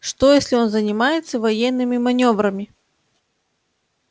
что если он занимается военными манёврами